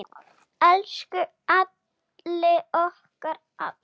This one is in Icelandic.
Elsku Halli okkar allra.